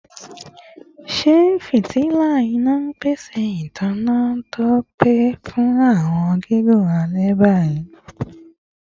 Ṣe fitila ina n pese itanna to pe fun awọn gigun alẹ bi?